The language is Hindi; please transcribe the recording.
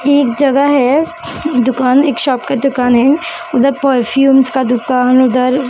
ये एक जगह है दुकान एक शॉप का दुकान है उधर परफ्यूमस का दुकान उधर--